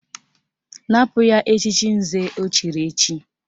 Napụ ya echiche nze o chiri echi!